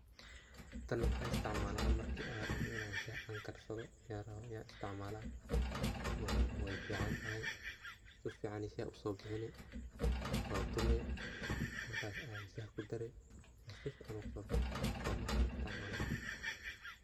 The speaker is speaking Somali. Tan maxan isticmalaa marki an rabo inan shax an karsadho oo wey fican tahay su ficana ayey shaxa uso bixini waa tumi markas aya shaxa kudare shaxa si ficana ayu kusobaxaya, taa markas ayan isticmalna.